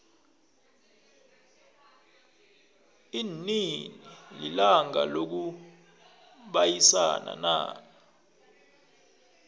linini ilanga lokubayisana na